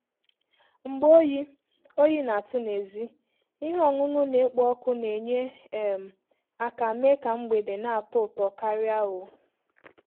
Mgbe oyi oyi na-atụ n'èzí, ihe ọṅụṅụ na-ekpo ọkụ na-enye um aka mee ka mgbede na-atọ ụtọ karị. um